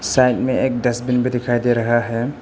Side में एक dustbin में दिखाई दे रहा है।